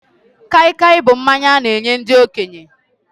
Kaikai bụ mmanya a na-enye ndị okenye